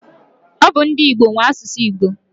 Ọ bu ndi Igbo nwe asụsụ Igbo.